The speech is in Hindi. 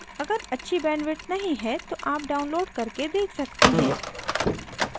अगर अच्छी bandwidth नहीं है तो आप download करके देख सकते हैं